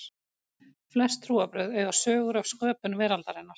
flest trúarbrögð eiga sögur af sköpun veraldarinnar